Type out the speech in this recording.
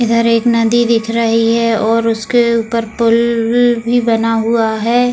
इधर एक नदी दिख रही है और उसके ऊपर पुल भी बना हुआ है ।